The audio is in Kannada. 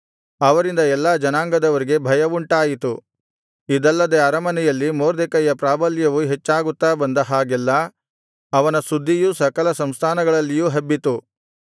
ಅವರಿಂದ ಎಲ್ಲಾ ಜನಾಂಗದವರಿಗೆ ಭಯವುಂಟಾಯಿತು ಇದಲ್ಲದೆ ಅರಮನೆಯಲ್ಲಿ ಮೊರ್ದೆಕೈಯ ಪ್ರಾಬಲ್ಯವು ಹೆಚ್ಚಾಗುತ್ತಾ ಬಂದ ಹಾಗೆಲ್ಲಾ ಅವನ ಸುದ್ದಿಯೂ ಸಕಲ ಸಂಸ್ಥಾನಗಳಲ್ಲಿಯೂ ಹಬ್ಬಿತು